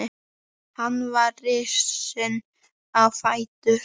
Hann var risinn á fætur.